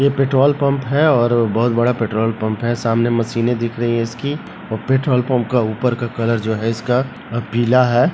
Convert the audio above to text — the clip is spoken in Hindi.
यह पेट्रोल पम्प है और बहोत बड़ा पेट्रोल पम्प है सामने मशीने दिख रही है इसकी और पेट्रोल पम्प का ऊपर का कलर जो है इसका पीला है।